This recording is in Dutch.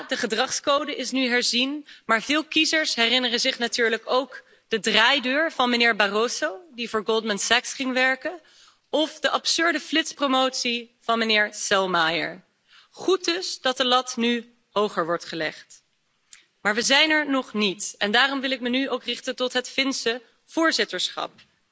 De gedragscode is nu dan wel herzien, maar veel kiezers herinneren zich natuurlijk nog de draaideur van meneer Barroso, die voor Goldman Sachs ging werken, of de absurde flitspromotie van meneer Selmayr. Het is goed dat de lat nu hoger wordt gelegd, maar we zijn er nog niet en daarom wil ik me nu ook richten tot het Finse voorzitterschap.